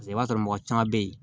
Paseke i b'a sɔrɔ mɔgɔ caman bɛ yen